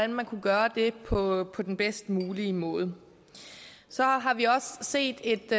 man kunne gøre det på den bedst mulige måde så har vi også set et